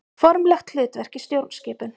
Formlegt hlutverk í stjórnskipun.